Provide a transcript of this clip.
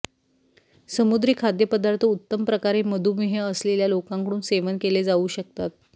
समुद्री खाद्यपदार्थ उत्तम प्रकारे मधुमेह असलेल्या लोकांकडून सेवन केले जाऊ शकतात